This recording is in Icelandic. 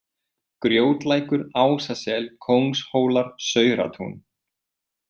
Grjótlækur, Ásasel, Kóngshólar, Sauratún